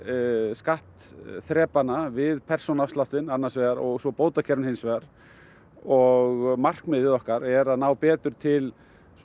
skattþrepanna við persónuafsláttinn annars vegar og svo bótakerfin hins vegar og markmið okkar er að ná betur til